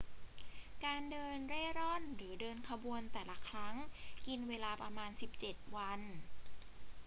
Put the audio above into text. การเดินเร่ร่อนหรือเดินขบวนแต่ละครั้งกินเวลาประมาณ 17 วัน